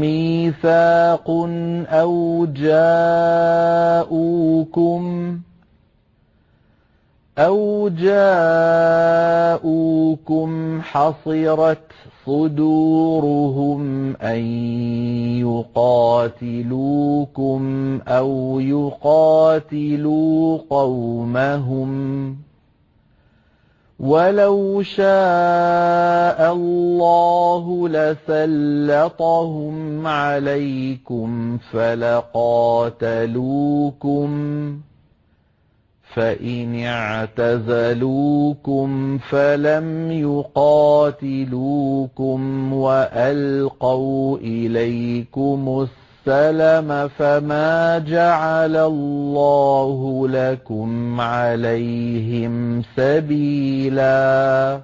مِّيثَاقٌ أَوْ جَاءُوكُمْ حَصِرَتْ صُدُورُهُمْ أَن يُقَاتِلُوكُمْ أَوْ يُقَاتِلُوا قَوْمَهُمْ ۚ وَلَوْ شَاءَ اللَّهُ لَسَلَّطَهُمْ عَلَيْكُمْ فَلَقَاتَلُوكُمْ ۚ فَإِنِ اعْتَزَلُوكُمْ فَلَمْ يُقَاتِلُوكُمْ وَأَلْقَوْا إِلَيْكُمُ السَّلَمَ فَمَا جَعَلَ اللَّهُ لَكُمْ عَلَيْهِمْ سَبِيلًا